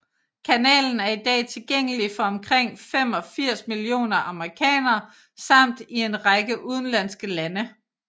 Kanalen er i dag tilgængelig for omkring 85 millioner amerikanere samt i en række udenlandske lande